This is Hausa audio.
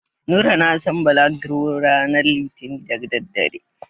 Nura na san balagro ranar litinin da daddare.